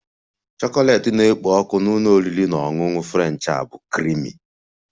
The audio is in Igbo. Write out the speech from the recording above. Chocolate na-ekpo ọkụ na ụlọ oriri na ọṅụṅụ French a bụ creamy